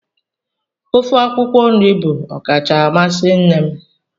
Ofe akwụkwọ nri bụ ọkacha amasị nne m.